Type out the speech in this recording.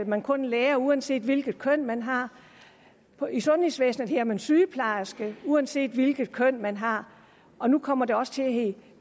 man kun lærer uanset hvilket køn man har i sundhedsvæsenet hedder man sygeplejerske uanset hvilket køn man har og nu kommer det også til at hedde